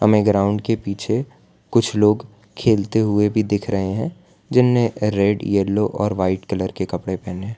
ये ग्राउंड के पीछे कुछ लोग खेलते हुए भी दिख रहे हैं जिन्होंने रेड येलो और व्हाइट कलर के कपड़े पहने--